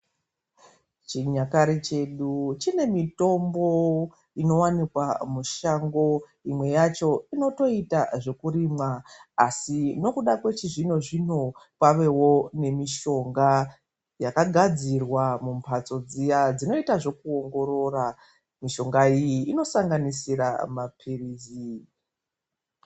Chinyakare chedu chine mitombo inowanikwa mushango. Imwe yacho inotoita zvekurimwa. Asi nokuda kwechizvino -zvino, kwavewo nemitombo yakagadzirwa mumbatso dziye dzinoita zvekuongorora. Mitombo iyi inosanganisira maphirizi.